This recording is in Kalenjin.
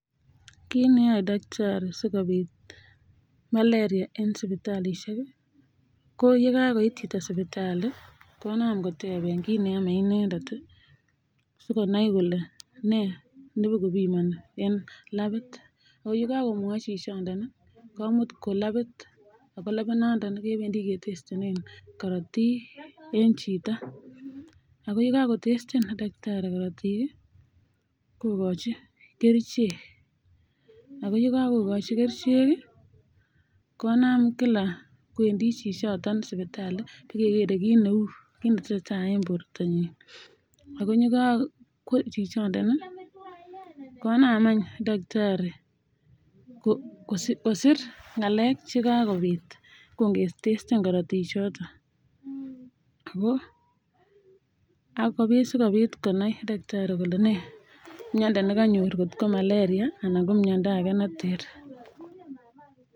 Kit neyoe daktari sikobit malaria en sibitalishek ko yekakoit Chito sibitali konam koteben gei kit neyome inendet sikonai Kole ne bo kobimaniben en labit AK yekakomwai chichiton komut Kwa labit ako labit noton kebendi ketestenen korotik en Chito akoyekotesten takitari korotik kokachin kerchek akoyekakokachi kerchek konam kila kwendi chichiton sibitali bakekere kit Neu AK kit netesetai en bortanyin akoyekakwa chichiton konam eny takitari kosir ngalek chekakobit akongetesten korotik chondet akobit konai daktari Kole ne miando nikanyor kot ko malaria anan miando age neter